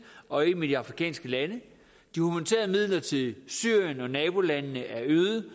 og en med de afrikanske lande og midler til syrien og nabolandene er øget